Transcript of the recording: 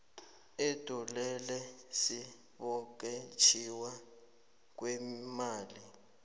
ubulelesi bokwetjiwa kweemali